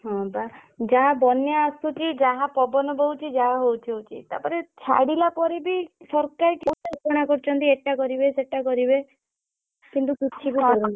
ହଁ ବା ଯାହା ବନ୍ୟା ଆସୁ କି ଯାହା ପବନ ବହୁଛି ଯାହା ହଉଛି ହଉଛି। ତା ପରେ ଛାଡିଲା ପରେ ବିସରକାର୍ କୋଉଟା ଘୋସାଣ କରିଛନ୍ତି ଏଇ ଟା କରିବେ ସେଇତା କରିବେ। କିନ୍ତୁ କିଛିବି